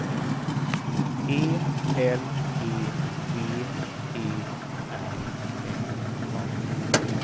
E L E V E R N A